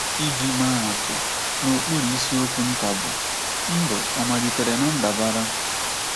Iji maa atụ, n’okpuru isiokwu nta bụ́ “ Ndụ Ọ Malitere ná Ndabara? ”